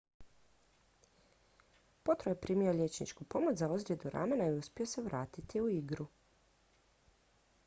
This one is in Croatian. potro je primio liječničku pomoć za ozljedu ramena i uspio se vratiti u igru